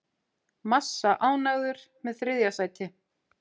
Massa ánægður með þriðja sæti